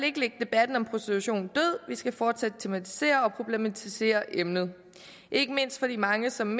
ikke lægge debatten om prostitution død vi skal fortsat tematisere og problematisere emnet ikke mindst fordi mange som